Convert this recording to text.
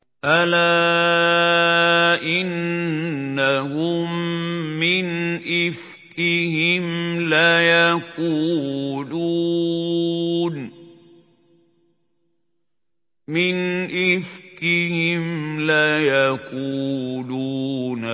أَلَا إِنَّهُم مِّنْ إِفْكِهِمْ لَيَقُولُونَ